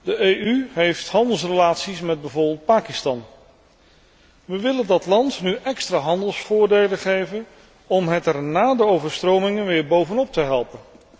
De EU heeft handelsrelaties met bijvoorbeeld Pakistan. We willen dat land nu extra handelsvoordelen geven om het er na de overstromingen weer bovenop te helpen.